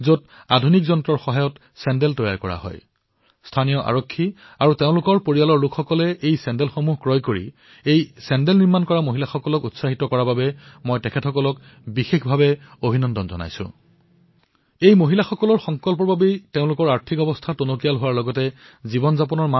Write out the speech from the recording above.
আজি পুনৰ বাৰ আহ্বান জনাইছো যে আমি স্থানীয় পৰ্যায়ত উৎপাদিত সামগ্ৰীসমূহ ক্ৰয় কৰিব নোৱাৰোনে আমি আমাৰ ক্ৰয় তালিকাত এই সামগ্ৰীসমূহক প্ৰাথমিকতা প্ৰদান কৰিব নোৱাৰোনে আমি স্থানীয় সামগ্ৰীৰ প্ৰতিষ্ঠা আৰু গৌৰৱৰ অংশীদাৰ হব নোৱাৰোনে এই চিন্তাধাৰাৰ সৈতে আমি আমাৰ সহযোগী দেশবাসীসকলৰ সমৃদ্ধিৰ মাধ্যম হিচাপে বিবেচিত হব নোৱাৰোনে বন্ধুসকল মহাত্মা গান্ধীয়ে স্বদেশীৰ এই ভাৱনাক এনে এক জ্যোতিৰ ৰূপত প্ৰত্যক্ষ কৰিছিল যিয়ে লক্ষাধিক লোকৰ জীৱন বিকশিত কৰিব পাৰে